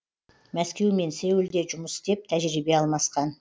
мәскеу мен сеулде жұмыс істеп тәжірибе алмасқан